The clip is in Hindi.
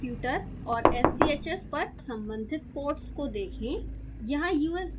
अपने कंप्यूटर और sbhs पर सम्बंधित पोर्ट्स को देखें